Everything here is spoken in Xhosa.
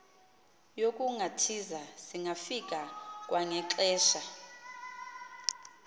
yokungathiza singafika kwangexesha